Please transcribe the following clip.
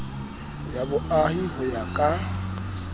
ya boahi ho ya ka